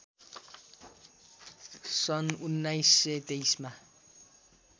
सन् १९२३ मा